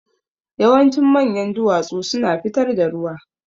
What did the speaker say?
Yawancin manyan duwatsu suna fitar da ruwa.